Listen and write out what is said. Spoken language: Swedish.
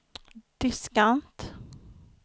diskant